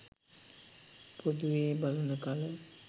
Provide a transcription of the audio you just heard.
පොදුවේ බලන කල